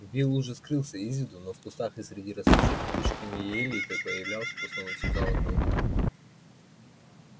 билл уже скрылся из виду но в кустах и среди растущих кучками елей то появлялся то снова исчезал одноухий